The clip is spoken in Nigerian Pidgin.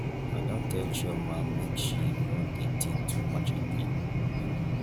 i don tell chioma make she no dey think too much again.